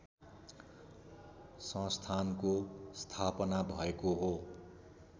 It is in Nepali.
संस्थानको स्थापना भएको हो